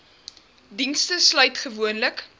dienste sluit gewoonlik